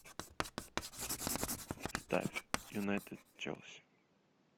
ставь юнайтед челси